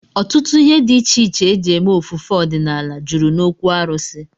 Ọtụtụ ihe dị iche iche e ji eme ofufe ọdịnala jụrụ n'okwu arụsị